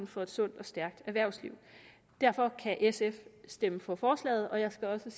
for et sundt og stærkt erhvervsliv derfor kan sf stemme for forslaget og jeg skal også